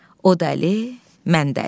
O dəli, mən dəli.